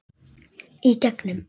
Í gegnum